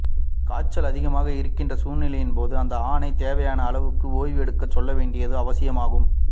காய்ச்சல் அதிகமாக இருக்கின்ற சூழ்நிலையின் போது அந்த ஆணை தேவையான அளவு ஓய்வு எடுக்க சொல்ல வேண்டியது அவசியமாகும்